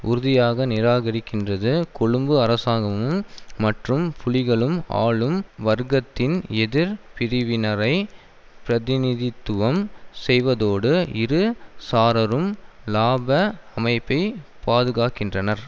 உறுதியாக நிராகரிக்கின்றது கொழும்பு அரசாங்கமும் மற்றும் புலிகளும் ஆளும் வர்க்கத்தின் எதிர் பிரிவினரை பிரதிநிதித்துவம் செய்வதோடு இரு சாரரும் இலாப அமைப்பை பாதுகாக்கின்றனர்